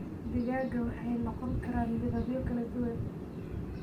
Digaagga waxay noqon karaan midabyo kala duwan.